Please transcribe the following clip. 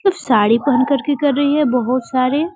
उ साड़ी पहन करके कर रही है बहुत सारी --